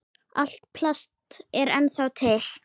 Allt plast er ennþá til.